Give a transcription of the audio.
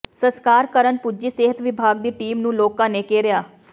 ਸਸਕਾਰ ਕਰਨ ਪੁੱਜੀ ਸਿਹਤ ਵਿਭਾਗ ਦੀ ਟੀਮ ਨੂੰ ਲੋਕਾਂ ਨੇ ਘੇਰਿਆ